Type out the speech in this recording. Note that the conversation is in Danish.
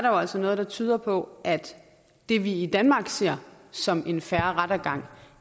jo altså noget der tyder på at det vi i danmark ser som en fair rettergang